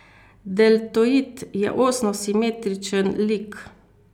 Deltoid je osno simetričen lik.